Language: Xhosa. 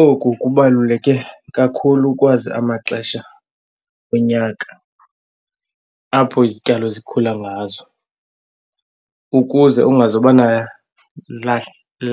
Oku kubaluleke kakhulu ukwazi amaxesha onyaka apho izityalo zikhula ngazo ukuze ungazoba